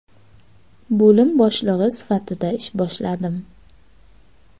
Bo‘lim boshlig‘i sifatida ish boshladim.